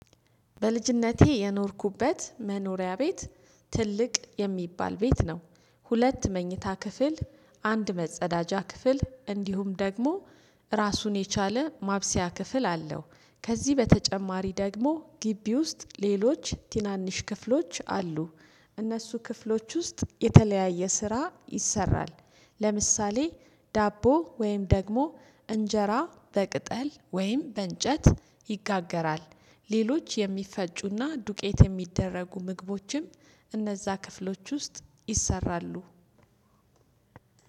በልጅነቴ የኖርኩበት መኖሪያ ቤት ትልቅ የሚባል ቤት ነው። ሁለት መኝታ ክፍል አንድ መጸዳጃ ክፍል እንዲሁም ደግሞ ራሱን የቻለ ማብሰያ ክፍል አለው። ከዚህ በተጨማሪ ደግሞ ግቢ ውስጥ ሌሎች ትናንሽ ክፍሎች አሉ። እነሱ ክፍሎች ውስጥ የተለያየ ስራ ይሰራል። ለምሳሌ ዳቦ ወይም ደግሞ እንጀራ በቅጠል ወይም በእንጨት ይጋገራል። ሌሎች የሚፈጩና ዱቄት የሚደረጉ ምግቦችም እነዛ ክፍሎች ውስጥ ይሰራሉ።